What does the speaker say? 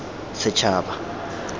setshaba